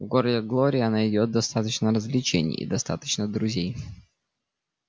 в городе глория найдёт достаточно развлечений и достаточно друзей